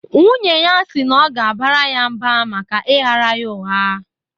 Nwunye ya si na ọ ga-abara ya mba maka ịghaara ya ụgha.